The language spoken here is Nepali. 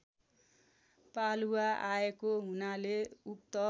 पालुवा आएको हुनाले उक्त